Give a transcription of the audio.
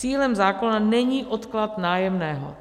Cílem zákona není odklad nájemného.